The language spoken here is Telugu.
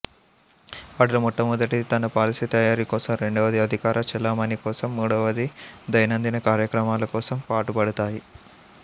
వాటిలో మొదటిది తన పాలసీ తయారీ కోసం రెండవది అధికార చెలామణి కోసం మూడవది దైనందిన కార్యక్రమాల కోసం పాటుపడుతాయి